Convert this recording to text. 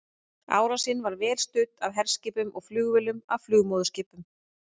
Árásin var vel studd af herskipum og flugvélum af flugmóðurskipum.